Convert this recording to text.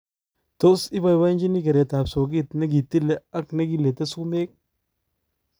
Tos ibabachini keret ap soket nekitile ak negilete sumek?